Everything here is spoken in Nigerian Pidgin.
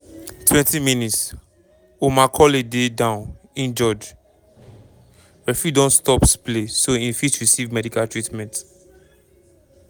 20 mins- omar colley dey down injured referee don stops play so im fit receive medical treatment.